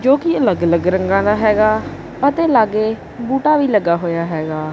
ਜੋਕੀ ਅੱਲਗ ਅੱਲਗ ਰੰਗਾ ਦਾ ਹੈਗਾ ਅਤੇ ਲਾਗੇ ਬੂਟਾ ਵੀ ਲੱਗਾ ਹੋਇਆ ਹੈਗਾ।